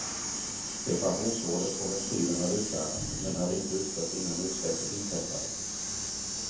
Reparationsorder på ventilen hade utfärdats, men hade inte utförts innan utsläppet inträffade.